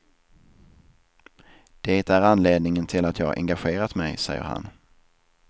Det är anledningen till att jag engagerat mig, säger han.